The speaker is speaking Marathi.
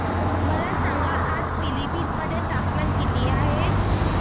मला सांगा आज पिलीभीत मध्ये तापमान किती आहे